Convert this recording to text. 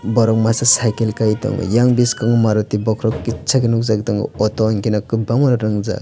borok masa cycle kai tongo yang biskango maruti bokhorog kitsa khe nukjagui tongo auto hinkheno kwbangma auto rungjak.